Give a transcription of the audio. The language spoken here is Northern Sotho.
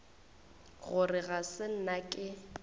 gore ga se nna ke